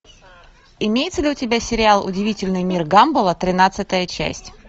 имеется ли у тебя сериал удивительный мир гамбола тринадцатая часть